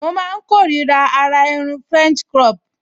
Mo máa n kórira àrà irun french crop